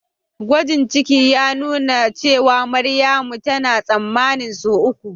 gwajin ciki ya nuna cewa Maryamu tana tsammanin sau uku